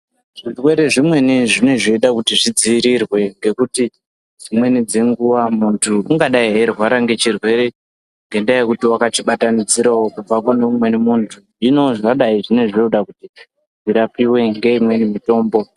Zvirwere zvimweni zvinenge zveida kuti zvidziirirwe ngekuti dzimweni dzenguwa muntu ungadai eirwara nechirwere ngendayekuti wakachibatanidzirawo kubva kune mumweni muntu hino zvadai zvinenge zvoda kuti zvirapiwe ngeimweni mutombo.